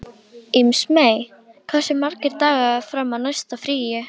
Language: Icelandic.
Ísmey, hversu margir dagar fram að næsta fríi?